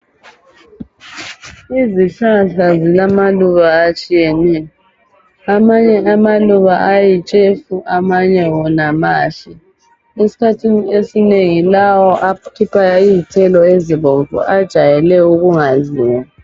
Izihlahla zilamaluba atshiyeneyo. Amanye amaluba ayitshefu amanye wona mahle. Eskhathini esinengi lawo akhipha izthelo ezibomvu ajayele ukungadliwa.